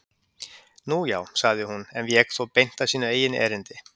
Nú, já- sagði hún en vék þó beint að sínu eigin erindi.